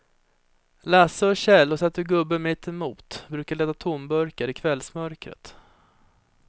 Lasse och Kjell har sett hur gubben mittemot brukar leta tomburkar i kvällsmörkret.